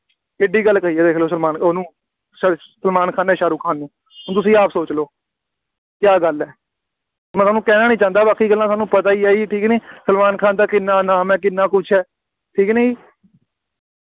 ਕਿੱਡੀ ਗੱਲ ਕਹੀ ਹੈ ਦੇਖ ਲਓ ਸਲਮਾਨ ਉਹਨੂੰ ਸ~ ਸਲਮਾਨ ਖਾਨ ਨੇ ਸਾਹਰੁਖ ਖਾਨ ਨੂੰ, ਹੁਣ ਤੁਸੀਂ ਆਪ ਸੋਚ ਲਓ, ਕਿਆ ਗੱਲ ਹੈ, ਮੈਂ ਹੁਣ ਕਹਿਣਾ ਨਹੀਂ ਚਾਹੁੰਦਾ ਬਾਕੀ ਗੱਲਾਂ ਤੁਹਾਨੂੰ ਪਤਾ ਹੀ ਜੀ ਠੀਕ ਨਹੀਂ, ਸਲਮਾਨ ਖਾਨ ਦਾ ਕਿੰਨਾ ਨਾਮ ਹੈ, ਕਿੰਨਾ ਕੁੱਝ ਹੈ, ਠੀਕ ਹੈ ਕਿ ਨਹੀਂ।